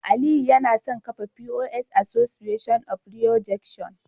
Aliyu yana son kafa POS Association of Rido junction